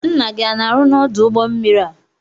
Nna gị ana arụ n'odu ụgbọ mmiri a?